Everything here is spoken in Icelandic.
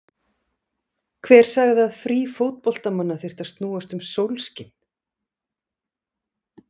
Hver sagði að frí fótboltamanna þyrftu að snúast um sólskin?